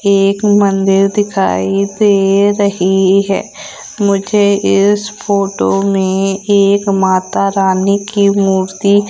एक मंदिर दिखाई दे रही है मुझे इस फोटो में एक माता रानी की मूर्ति--